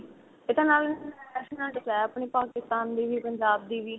ਇਹ ਤਾਂ ਨਾਲ national dress ਆ ਆਪਣੀ ਪਾਕਿਸਤਾਨ ਦੀ ਵੀ ਪੰਜਾਬ ਦੀ ਵੀ